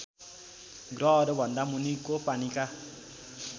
ग्रहहरूभन्दा मुनिको पानीका